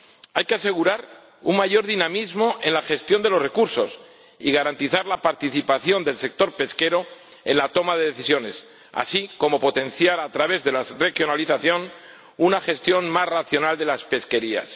Hay que asegurar un mayor dinamismo en la gestión de los recursos y garantizar la participación del sector pesquero en la toma de decisiones, así como potenciar a través de la regionalización una gestión más racional de las pesquerías.